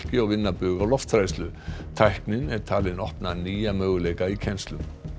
og vinna bug á lofthræðslu tæknin er talin opna nýja möguleika í kennslu